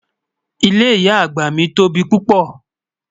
Ìlé ìyà agba mi tó bí pupọ́.